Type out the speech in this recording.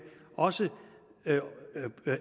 også